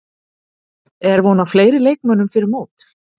Er von á fleiri leikmönnum fyrir mót?